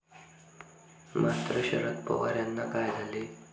मात्र, शरद पवार यांना काय झाले?